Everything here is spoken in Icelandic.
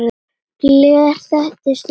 Gler þekur stundum sæinn.